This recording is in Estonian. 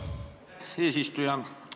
Hea eesistuja!